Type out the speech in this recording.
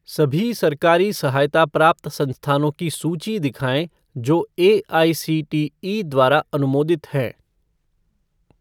सभी सरकारी सहायता प्राप्त संस्थानों की सूची दिखाएँ जो एआईसीटीई द्वारा अनुमोदित हैं।